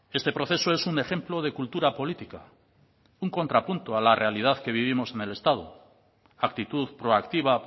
este proceso es un ejemplo de cultura política un contrapunto a la realidad que vivimos en el estado actitud proactiva